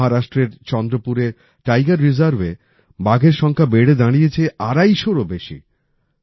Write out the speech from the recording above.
মহারাষ্ট্রের চন্দ্রপুরের টাইগার রিজার্ভে বাঘের সংখ্যা বেড়ে দাঁড়িয়েছে আড়াইশোরও বেশি